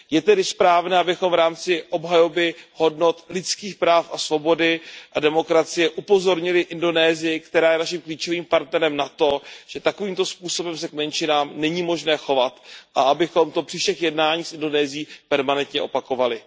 Je tedy správné, abychom v rámci obhajoby hodnot lidských práv a svobody a demokracie upozornili Indonésii, která je naším klíčovým partnerem, na to, že takovýmto způsobem se k menšinám není možné chovat, a abychom to při všech jednáních s Indonésií permanentně opakovali.